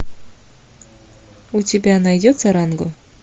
у тебя найдется ранго